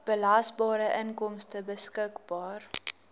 belasbare inkomste beskikbaar